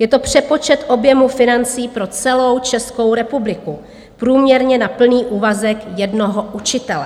Je to přepočet objemu financí pro celou Českou republiku, průměrně na plný úvazek jednoho učitele.